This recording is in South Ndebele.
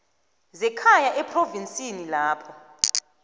zekhaya ephrovinsini lapho